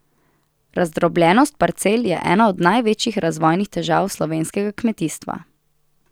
Razdrobljenost parcel je ena od največjih razvojnih težav slovenskega kmetijstva.